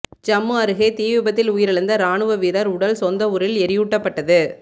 ஜம்மு அருகே தீ விபத்தில் உயிரிழந்த இராணுவ வீரர் உடல் சொந்த ஊரில் எரியூட்டப்பட்டது